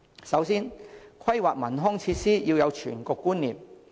首先，規劃文康設施要有全局觀念。